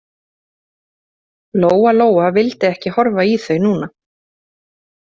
Lóa-Lóa vildi ekki horfa í þau núna.